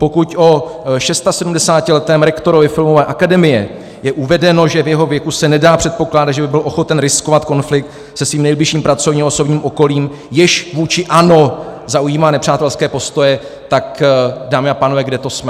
Pokud o 76letém rektorovi filmové akademie je uvedeno, že v jeho věku se nedá předpokládat, že by byl ochoten riskovat konflikt se svým nejbližším pracovním a osobním okolím, jež vůči ANO zaujímá nepřátelské postoje, tak dámy a pánové, kde to jsme?